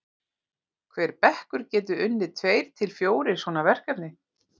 hver bekkur getur unnið tveir til fjórir svona verkefni